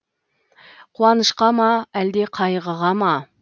қуанышқа ма әлде қайғыға ма